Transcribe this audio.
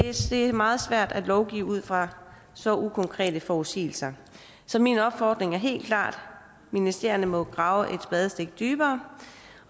er meget svært at lovgive ud fra så ukonkrete forudsigelser så min opfordring er helt klart ministerierne må grave et spadestik dybere